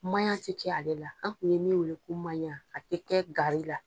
Maɲa ti kɛ ale la, an kun ye min weele ko maɲa, a ti kɛ gari la.